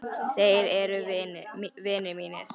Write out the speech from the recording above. Þeir eru vinir mínir.